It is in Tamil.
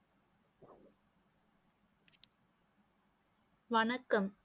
வணக்கம்